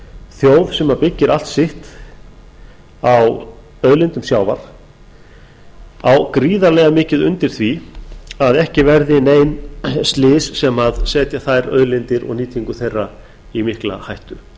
þjóð sem byggir allt sitt á auðlindum sjávar á gríðarlega mikið undir því að ekki verði nein slys sem setja þær auðlindir og nýtingu þeirra í mikla hættu